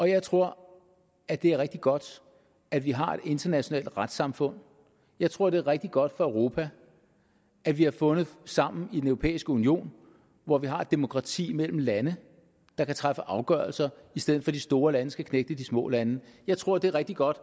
jeg tror at det er rigtig godt at vi har et internationalt retssamfund jeg tror at det er rigtig godt for europa at vi har fundet sammen i den europæiske union hvor vi har et demokrati mellem lande der kan træffe afgørelser i stedet for at de store lande skal knægte de små lande jeg tror at det er rigtig godt